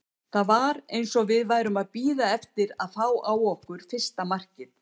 Það var eins og við værum að bíða eftir að fá á okkur fyrsta markið.